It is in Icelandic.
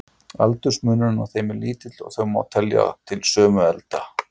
Aldursmunur á þeim er lítill, og þau má telja til sömu elda.